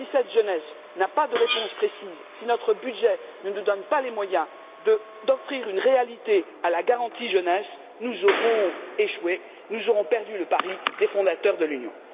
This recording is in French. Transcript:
Mais si cette jeunesse n'a pas de réponse précise, et si notre budget ne nous donne pas les moyens d'offrir une réalité à la garantie jeunesse, nous aurons échoué. Nous aurons perdu le pari des fondateurs de l'Union.